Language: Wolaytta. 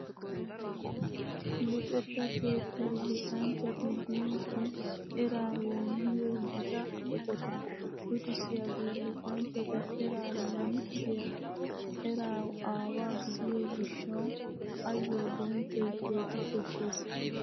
Luxetta keettay luxanchchati biidi eraa woommiyo gita eqota. Luxissiyagee luxanchchata eraa lanqqiyaa eraa aawaa gidiyo gishshawu ayyo bonchchoy keehi koshshees .